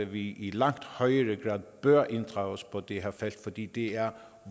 vi i langt højere grad bør inddrages på det her felt fordi det er